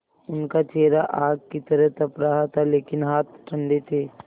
उनका चेहरा आग की तरह तप रहा था लेकिन हाथ ठंडे थे